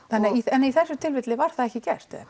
en í þessu tilfelli var það ekki gert eða